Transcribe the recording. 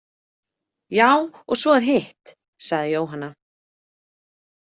Já, og svo er hitt, sagði Jóhanna.